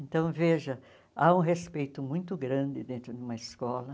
Então, veja, há um respeito muito grande dentro de uma escola.